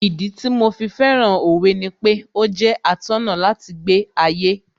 Ìdí tí mo fi fẹ́ràn Òwe ni pé ó jẹ́ atọ́nà láti gbé ayé